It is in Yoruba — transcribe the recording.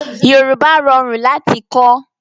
Yorùbá rọrùn láti kọ́